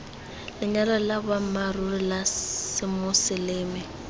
lenyalo la boammaaruri la semoseleme